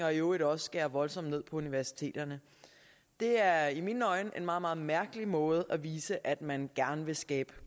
og i øvrigt også skære voldsomt ned på universiteterne det er i mine øjne en meget meget mærkelig måde at vise på at man gerne vil skabe